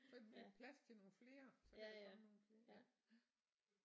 Så bliver der plads til nogle flere så kan der komme nogle flere ja